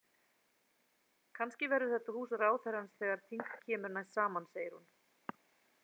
Kannski verður þetta hús ráðherrans þegar þing kemur næst saman, segir hún.